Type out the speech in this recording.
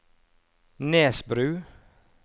Nesbru